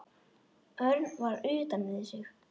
Örn var utan við sig.